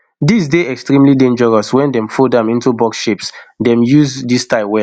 dis dey extremely dangerous wen dem fold am into box shapes dem dey use dis style well